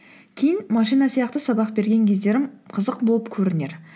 кейін машина сияқты сабақ берген кездерім қызық болып көрінер